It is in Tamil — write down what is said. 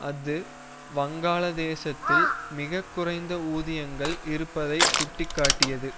அது வங்காள தேசத்தில் மிக குறைந்த ஊதியங்கள் இருப்பதை சுட்டி காட்டியது